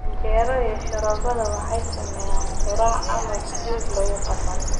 Canjeero iyo sharoobada waxay sameeyaan quraac ama brunch lagu qanco.